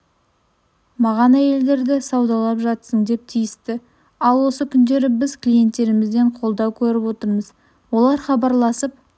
маған әйелдерді саудалап жатсың деп тиісті ал осы күндері біз клиенттерімізден қолдау көріп отырмыз олар хабарласып